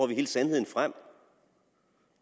hele sandheden frem